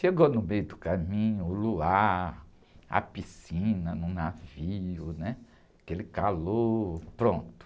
Chegou no meio do caminho, o luar, a piscina, no navio, né? Aquele calor, pronto.